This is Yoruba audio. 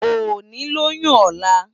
Óni lóyún òlá